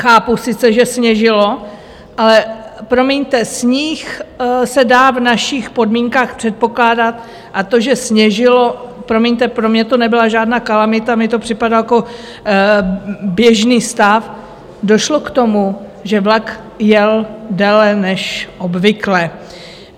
Chápu sice, že sněžilo, ale promiňte, sníh se dá v našich podmínkách předpokládat a to, že sněžilo, promiňte, pro mě to nebyla žádná kalamita, mně to připadal jako běžný stav, došlo k tomu, že vlak jel déle než obvykle.